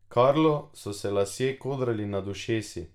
Karlu so se lasje kodrali nad ušesi.